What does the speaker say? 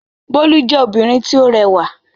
Bólú jẹ́ obìnrin tí ó rẹwà.